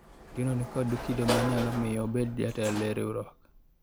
Otieno nikod kido manyalo miyo obedo jatelo e riwruogni